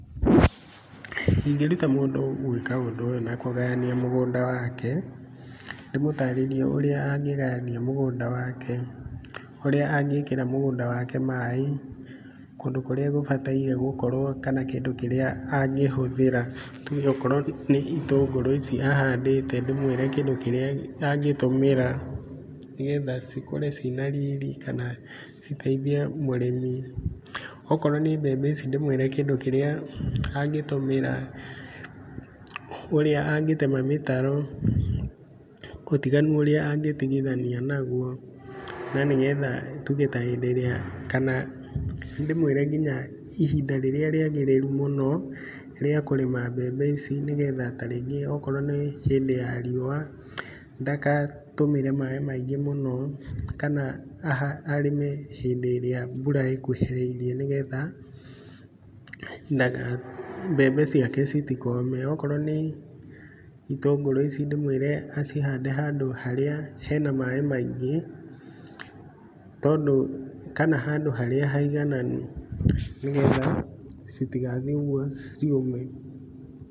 Ĩngĩruta mũndũ gwĩka ũndũ ũyũ na kũgayania mũgũnda wake. Ndĩmũtarĩrie ũrĩa angĩgayania mũgũnda wake, ũrĩa angĩkĩra mũgũnda wake maaĩ, kũndũ kũrĩa gũbataire gũkorwo, kana kĩndũ kĩrĩa angĩhũthĩra. Tuge okorwo nĩ ĩtũngũrũ ici ahandĩĩte ndĩmwĩre kĩndũ kĩrĩa angĩtũmĩra nĩ getha cikũre cina riiri kana citeithie mũrĩmi. Okorwo nĩ mbembe ici ndĩmwĩre kĩndũ kĩrĩa angĩtũmĩra. Ũrĩa angĩtema mĩtaro, ũtiganu ũrĩa angĩtigithania naguo nĩgetha tuge ta hĩndĩ ĩrĩa kana ndĩmwĩre nginya ihinda rĩrĩa rĩagĩrĩru mũno rĩa kũrĩma mbembe ici nigetha ta rĩngĩ o korwo nĩ hĩndĩ ya riũa ndagatũmĩre maaĩ maingĩ mũno. Kana arĩme hindĩ ĩrĩa mbura ĩkũhĩrĩirie ni getha mbembe ciake citikome. Okorwo nĩ ĩtũngũrũ ici ndĩmwire acihande handũ harĩa hena maaĩ maingĩ, tondũ, kana handũ harĩa haigananu nĩgetha citigathiĩ ũguo ciũme.